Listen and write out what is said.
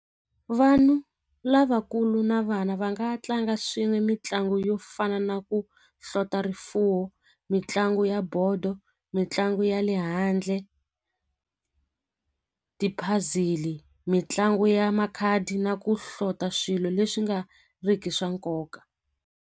Vanhu lavakulu na vana va nga tlanga swin'we mitlangu yo fana na ku hlota rifuwo mitlangu ya bodo mitlangu ya le handle ti-puzzle-i mitlangu ya makhadi na ku hlota swilo leswi nga riki swa nkoka.